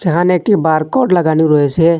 এখানে একটি বারকোড লাগানু রয়েসে।